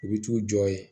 U bɛ t'u jɔ yen